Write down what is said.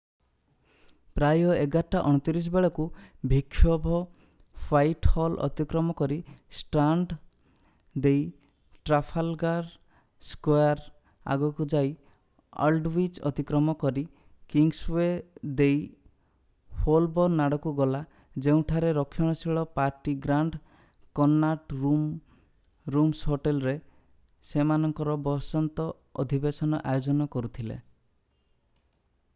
ପ୍ରାୟ 11:29 ବେଳକୁ ବିକ୍ଷୋଭ ହ୍ୱାଇଟହଲ ଅତିକ୍ରମ କରି ଷ୍ଟ୍ରାଣ୍ଡ୍ ଦେଇ ଟ୍ରାଫାଲଗାର୍ ସ୍କୋୟାର୍ ଆଗକୁ ଯାଇ ଆଲଡୱିଚ୍ ଅତିକ୍ରମ କରି କିଙ୍ଗସୱେ ଦେଇ ହୋଲବୋର୍ନ୍ ଆଡକୁ ଗଲା ଯେଉଁଠାରେ ରକ୍ଷଣଶୀଳ party Grand Connaught Rooms hotel ରେ ସେମାନଙ୍କର ବସନ୍ତ ଅଧିବେଶନ ଆୟୋଜନ କରୁଥିଲେ